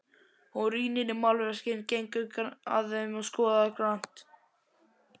Hún rýnir í málverkin, gengur að þeim og skoðar grannt.